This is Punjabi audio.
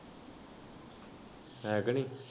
ਹੈ ਕ ਨਈ?